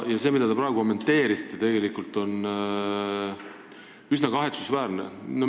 See, mida te praegu kommenteerisite, on üsna kahetsusväärne.